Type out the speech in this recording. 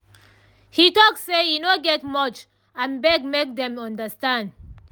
he talk say e no get much and beg make dem understand